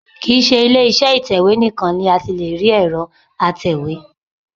Kì í ṣe ilé iṣẹ́ ìtẹ̀wé nìkan ni a ti lè rí ẹ̀rọ atẹ̀wé